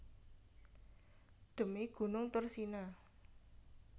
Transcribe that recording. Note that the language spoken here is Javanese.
Dhemi gunung Thursina